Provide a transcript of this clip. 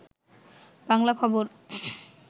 বাংলা খবর